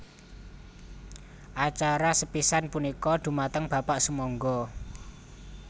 Acara sepisan punika dhumateng Bapak sumangga